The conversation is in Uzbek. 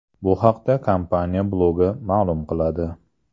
Bu haqda kompaniya blogi ma’lum qiladi .